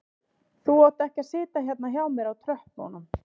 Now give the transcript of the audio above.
Þú átt ekki að sitja hérna hjá mér á tröppunum